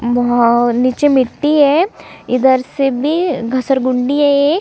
मोह नीचे मिट्टी है इधर से भी घसरगुंडी है एक -